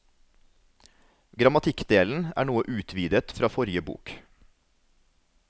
Grammatikkdelen er noe utvidet fra forrige bok.